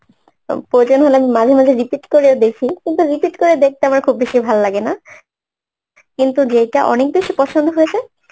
প্রয়োজন হলে আমি মাঝে মাঝে repeat করেও দেখি কিন্তু repeat করে দেখতে আমার খুব বেশি ভাল লাগে না কিন্তু যেইটা অনেক বেশি পছন্দ হয়েছে